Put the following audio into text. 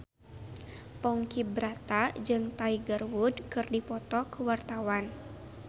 Ponky Brata jeung Tiger Wood keur dipoto ku wartawan